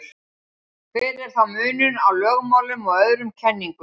hver er þá munurinn á lögmálum og öðrum kenningum